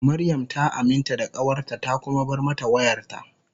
Mariam ta aminta da kawarta ta kuma bar mata wayarta.